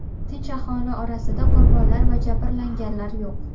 Tinch aholi orasida qurbonlar va jabrlanganlar yo‘q.